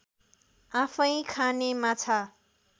आफैँ खाने माछा